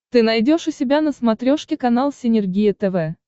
ты найдешь у себя на смотрешке канал синергия тв